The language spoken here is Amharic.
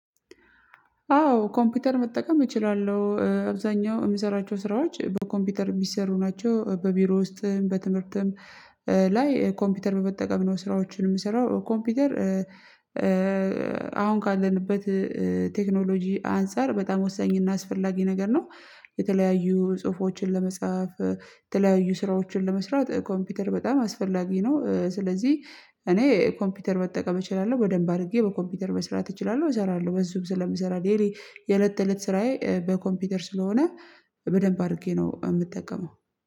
አዎ ኮምፒውተር መጠቀም እችላለሁ አብዛኛው የምሰራቸው ስራዎች በኮምፒውተር የሚሰሩ ናቸው በቢሮ ውስጥም በትምህርትም ላይ ኮምፒውተር በተጠቀም ነው ስራዎችን የምሰራው ኮምፒውተር። አሁን ካለንበት ቴክኖሎጂ አንፃር በጣም ወሳኝ እና አስፈላጊ ነገር ነው። የተለያዩ ጽሁፎችን ለመጻፍ የተለያዩ ስራዎችን ለመስራት ኮምፒውተር በጣም አስፈላጊ ነው። ስለዚህ እኔ ኮምፒውተር መጠቀም እችላለሁ በደንብ አድርጌ በኮምፒውተር መስራት እችላለሁ እሰራለሁ በሱም ስለምሰራ ደይሊ የለት ተእለት ስራዬ በኮምፒውተር ስለሆነ በደንብ አድርጌ ነው የምጠቀመው